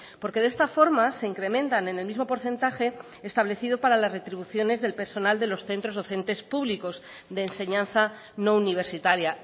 porque de esta forma se incrementan en el mismo porcentaje establecido para las retribuciones del personal de los centros docentes públicos de enseñanza no universitaria